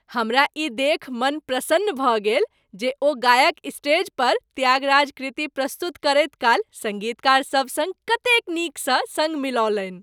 हमरा ई देखि मन प्रसन्न भऽ गेल जे ओ गायक स्टेज पर त्यागराज कृति प्रस्तुत करैत काल सङ्गीतकार सभक संग कतेक नीकसँ सङ्ग मिलौलनि।